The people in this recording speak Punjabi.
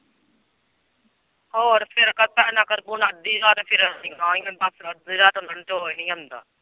ਹੋਰ ਫੇਰ .